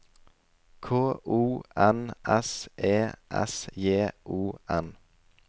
K O N S E S J O N